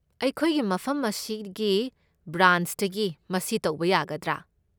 ꯑꯩꯈꯣꯏꯒꯤ ꯃꯐꯝ ꯑꯁꯤꯒꯤ ꯕ꯭ꯔꯥꯟꯆꯇꯒꯤ ꯃꯁꯤ ꯇꯧꯕ ꯌꯥꯒꯗ꯭ꯔꯥ?